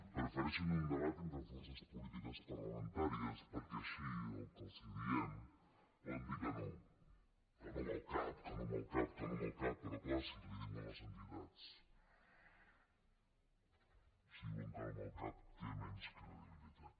prefereixen un debat entre forces polítiques parlamentàries perquè així al que els diem poden dir que no que no amb el cap que no amb el cap però clar si els ho diuen les entitats si diuen que no amb el cap té menys credibilitat